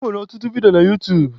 Ọ nwere ọtụtụ vidio na utuub